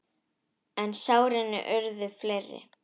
En sárin urðu fleiri.